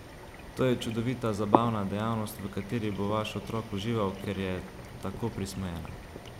To je čudovita, zabavna dejavnost, v kateri bo vaš otrok užival, ker je tako prismojena!